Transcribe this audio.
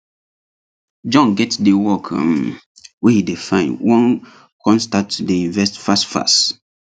john get the work um wey he dey find wan con start to dey invest fast fast